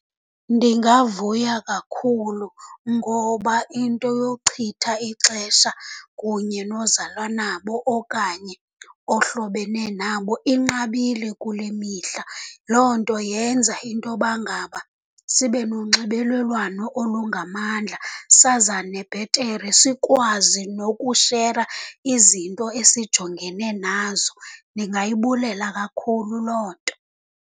Ndingavuya kakhulu, ngoba into yochitha ixesha kunye nozalwa nabo okanye ohlobene nabo inqabile kule mihla. Loo nto yenza intoba ngaba sibe nonxibelelwano olungamandla, sazane bhetere, sikwazi nokushera izinto esijongene nazo. Ndingayibulela kakhulu loo nto.